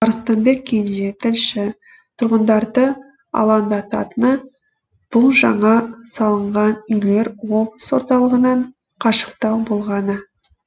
арыстанбек кенже тілші тұрғындарды алаңдататыны бұл жаңа салынған үйлер облыс орталығынан қашықтау болғаны